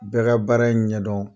Bɛ ka baara in ɲɛdɔn